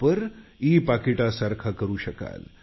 आपण ई पाकिटासारखा वापर करू शकता